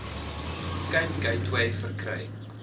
cape gateway verkry